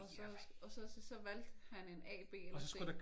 Og så og så så valgte han en A B eller C